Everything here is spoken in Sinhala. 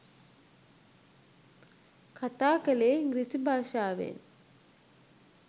කතා කළේ ඉංග්‍රීසි භාෂාවෙන්.